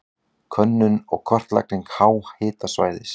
Könnun og kortlagning háhitasvæðis.